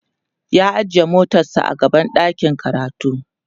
ya ajiye motar sa a gaban ɗakin karatu